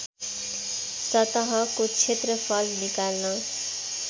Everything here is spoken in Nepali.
सतहको क्षेत्रफल निकाल्न